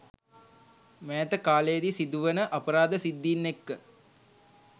මෑත කාලයෙදි සිදුවන අපරාධ සිද්ධීන් එක්ක